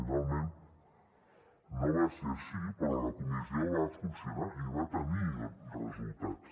finalment no va ser així però la comissió va funcionar i va tenir resultats